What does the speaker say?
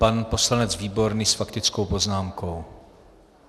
Pan poslanec Výborný s faktickou poznámkou.